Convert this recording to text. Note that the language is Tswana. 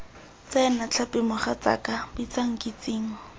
tsena tlhapi mogatsaaka bitsa nkitsing